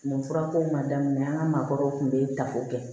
Nin furako ma daminɛ an ka maakɔrɔw tun bɛ ta o kɛ